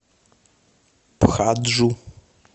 пхаджу